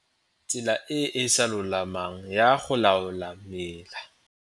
Tsela e e sa lolamang ya go laola mela.